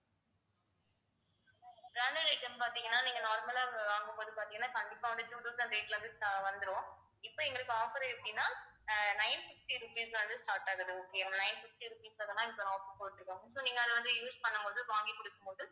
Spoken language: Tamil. branded item பார்த்தீங்கன்னா நீங்க normal லா வாங்கும்போது பார்த்தீங்கன்னா கண்டிப்பா வந்து two thousand rate ல இருந்து sta~ வந்துரும் இப்ப எங்களுக்கு offer எப்படின்னா அஹ் nine fifty rupees ல இருந்து start ஆகுது okay yeah nine fifty rupees offer போட்டுருக்காங்க so நீங்க அத வந்து use பண்ணும் போது வாங்கி கொடுக்கும் போது